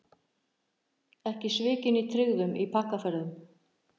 Ekki svikin í tryggðum í pakkaferðum